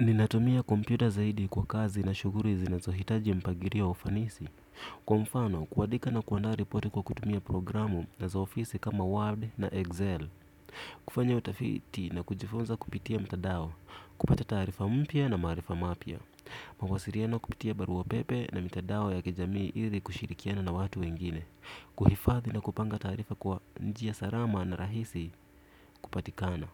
Ninatumia kompyuta zaidi kwa kazi na shughuli zinazohitaji mpagilio ufanisi. Kwa mfano, kuandika na kuandaa ripoti kwa kutumia programu na za ofisi kama Word na Excel Kufanya utafiti na kujifunza kupitia mtandao, kupata taarifa mpya na marifa mapya mawasiliano kupitia barua pepe na mitandao ya kijamii ili kushirikiana na watu wengine kuhifadhi na kupanga taarifa kwa njia salama na rahisi kupatikana